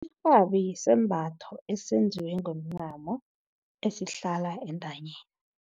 Irhabi sisembatho esenziwe ngomncamo esihlala entanyeni.